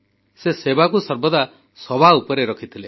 ସେ ସେବାକୁ ସର୍ବଦା ସବୁଠୁ ଉପରେ ରଖିଥିଲେ